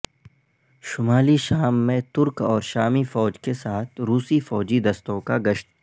شمالی شام میں ترک اور شامی فوج کے ساتھ روسی فوجی دستوں کا گشت